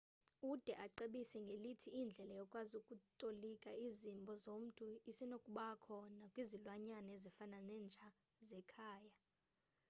ude acebise ngelithi indlela yokwazi ukutolika izimbo zomntu isenokubakho nakwizilwanyana ezifana nenja zekhaya